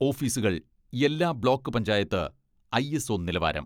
ഓഫീസുകൾ എല്ലാ block panchayat ISO നിലവാരം.